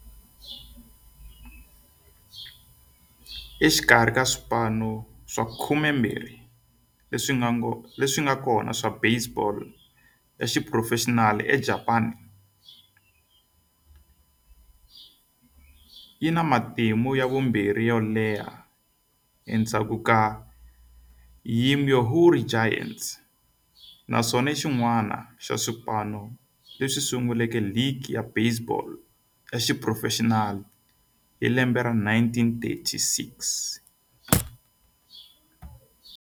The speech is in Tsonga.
Exikarhi ka swipano swa 12 leswi nga kona swa baseball ya xiphurofexinali eJapani, yi na matimu ya vumbirhi yo leha endzhaku ka Yomiuri Giants, naswona i xin'wana xa swipano leswi sunguleke ligi ya baseball ya xiphurofexinali hi 1936.